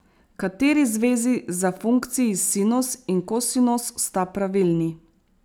Kateri zvezi za funkciji sinus in kosinus sta pravilni?